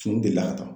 Fini delila ka taa